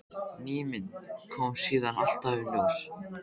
Ný mynd kom síðan alltaf í ljós.